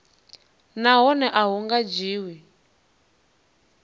nahone a hu nga dzhiwi